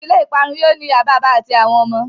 Ìdílé ìparun yóó ní ìyá bàbá àti àwọn ọmọ.